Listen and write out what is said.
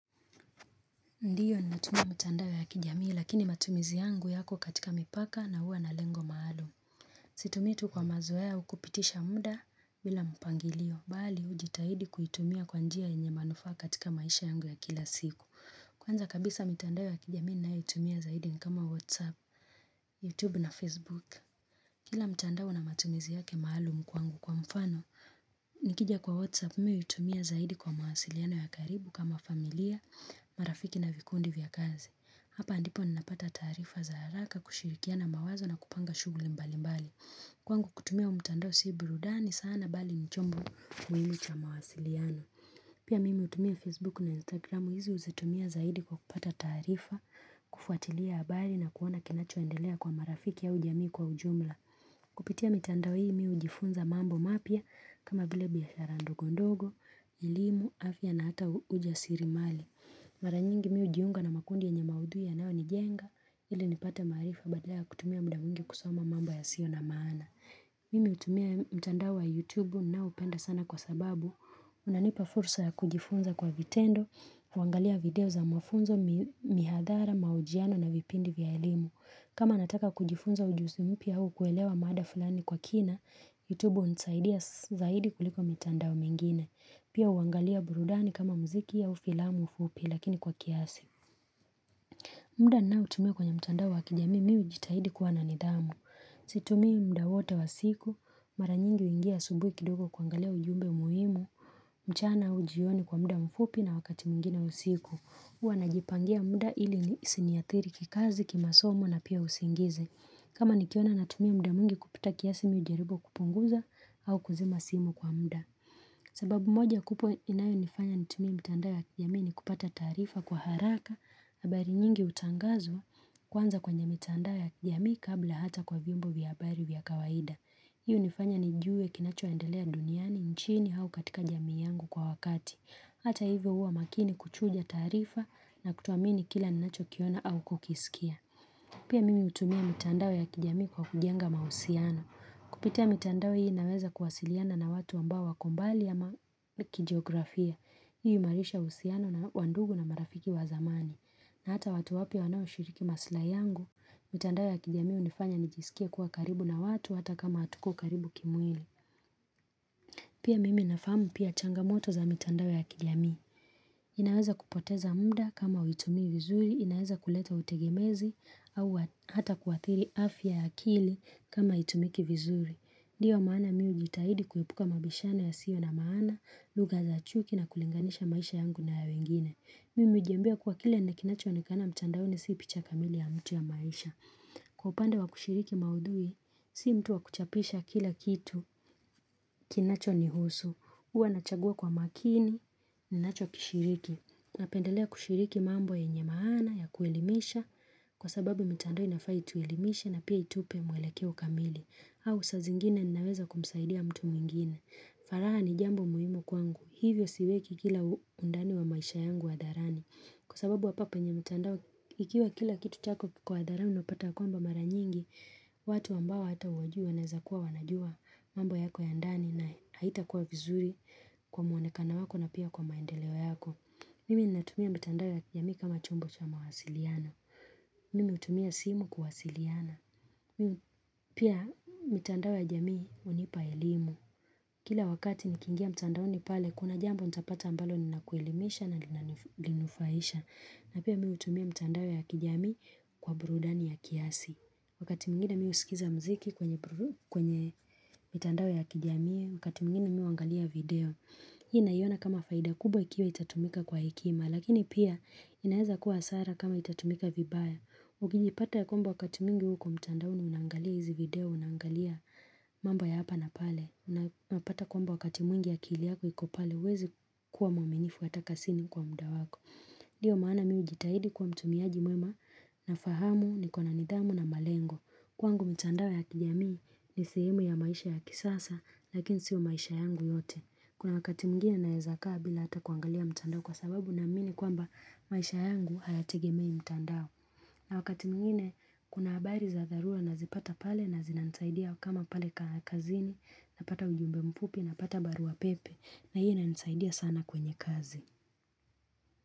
Ndiyo ni natumia mitandao ya kijamii lakini matumizi yangu yako katika mipaka na hua na lengo maalum. Situmii tu kwa mazoea au kupitisha muda bila mpangilio. Bali ujitahidi kuitumia kwa njia enye manufa katika maisha yangu ya kila siku. Kwanza kabisa mitandao ya kijamii ninayo itumia zaidi nikama Whatsapp, Youtube na Facebook. Kila mtandao na matumizi yake maalum kwangu kwa mfano, Nikija kwa Whatsapp miu utumia zaidi kwa mahasiliano ya karibu kama familia, marafiki na vikundi vya kazi Hapa ndipo ninapata tarifa za haraka kushirikia na mawazo na kupanga shuguli mbali mbali Kwangu kutumia umtando si burudani sana bali ni chombo muhimu cha mahasiliano Pia mimi utumia Facebook na Instagram huizi uzatumia zaidi kwa kupata tarifa kufuatilia abali na kuona kinachoendelea kwa marafiki au jamii kwa ujumla Kupitia mitandao hii miu ujifunza mambo mapya kama vile biashara ndogondogo, ilimu, afya na hata ujasirimali Maranyingi miu ujiunga na makundi yenye maudhui yanyao ni jenga ili nipata marifa badala kutumia muda mwingi kusoma mambo ya sio na maana. Mimi utumia mitandao wa youtube na upenda sana kwa sababu unanipa fursa ya kujifunza kwa vitendo, wangalia video za mwafunzo mihadhara maujiano na vipindi vya ilimu. Kama nataka kujifunza ujuzi mpya au kuelewa mada fulani kwa kina, YouTube unisaidia zaidi kuliko mtandao mingine. Pia uangalia burudani kama mziki au ufilamu fupi lakini kwa kiasi. Mda na utumia kwenye mtandao wa kijami miu jitahidi kuwa nanidhamu. Situmii mda wote wa siku, maranyingi uingia subui kidogo kuangalia ujumbe umuimu, mchana ujioni kwa mda ufupi na wakati mwingine usiku. Uwa na jipangia muda ili ni siniathiri kikazi kima somo na pia usingizi. Kama nikiona na tumia muda mungi kupita kiasimi ujaribu kupunguza au kuzima simu kwa muda. Sababu moja kupo inayo nifanya ni tumie mitandao ya kijami ni kupata tarifa kwa haraka habari nyingi utangazwa kwanza kwenye mitandao ya kijami kabla hata kwa vyombo vyabari vyakawaida. Hii unifanya ni juwe kinacho endelea duniani nchini au katika jami yangu kwa wakati. Hata hivyo uwa makini kuchuja tarifa na kutoamini kila ninacho kiona au kukisikia. Pia mimi utumia mitandao ya kijami kwa kujenga mahusiano. Kupitia mitandao hii naweza kuwasiliana na watu ambao wako mbali ama kijiografia. Hii umarisha usiano na wandugu na marafiki wa zamani. Na hata watu wapya wanawishiriki maslahi yangu, mitandao ya kijami unifanya nijisikie kuwa karibu na watu hata kama atuko karibu kimwili. Pia mimi nafamu pia changamoto za mitandao ya kijami. Inaweza kupoteza muda kama uitumi vizuri, inaweza kuleta utegemezi au hata kuathiri afya ya akili kama aitumiki vizuri. Ndiyo maana miu jitahidi kuepuka mabishano yasio na maana, lugha za chuki na kulinganisha maisha yangu na ya wengine. Mimu ujimbia kuwa kile na kinacho onekana mtandaoni si picha kamili ya mtu ya maisha. Upande wa kushiriki maudhui, si mtu wa kuchapisha kila kitu. Kinacho ni husu. Uwa nachagua kwa makini, ninacho kishiriki. Napendelea kushiriki mambo ye nyemaana ya kuelimisha kwa sababu mtandao nafaa kutuelimisha na pia itupe mwelekeo kamili. Au sa zingine naweza kumsaidia mtu mwingine. Faraha ni jambo muhimu kwangu. Hivyo siweki kila undani wa maisha yangu adharani. Kwa sababu hapa penye mitando ikiwa kila kitu chako kiko hadharani unapata kwa mba mara nyingi. Watu ambao hata uwajui waezakuwa wanajua mambo yako ya ndani na haita kuwa vizuri kwa muanekano wako na pia kwa maendeleo yako. Mimi ni natumia mitandao ya kijami kama chombo cha mawasiliano. Mimi utumia simu kuwasiliana. Pia mitandao ya jamii unipa ilimu. Kila wakati ni kingia mitandaoni pale kuna jambo nitapata ambalo ni la kuelimisha na linufaisha. Na pia mi utumia mitandao ya kijamii kwa burudani ya kiasi. Wakati mingine miu usikiza mziki kwenye mitandao ya kijami wakati mingine miu angalia video hii inayona kama faida kubwa ikiwa itatumika kwa hekima lakini pia inaeza kuwa asara kama itatumika vibaya ukijipata ya kwamba wakati mingi huko mtandaoni unangalia hizi video unangalia mambo ya hapa na pale napata kwamba wakati mwingi akili yako ikopale wezi kuwa mwaminifu ataka sini kwa mda wako ndio maana miu jitahidi kwa mtu miaji mwema na fahamu ni kwa nanidhamu na malengo Kwangu mtandao ya kijamii ni sehemu ya maisha ya kisasa lakini sio maisha yangu yote Kuna wakati mwingine naezakaa bila ata kuangalia mtandao kwa sababu naamini kwamba maisha yangu hayategemei mtandao na wakati mgini kuna habari za dharura na zipata pale na zinanisaidia kama pale kaa kazini na pata ujumbe mpupi na pata barua pepe na hii na nsaidia sana kwenye kazi.